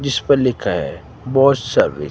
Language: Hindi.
जिस पर लिखा है सर्विस ।